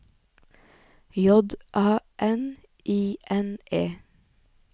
J A N I N E